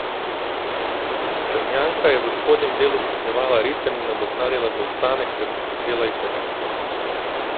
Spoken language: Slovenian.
Črnjanka je v spodnjem delu stopnjevala ritem in nadoknadila zaostanek ter prehitela Italijanko.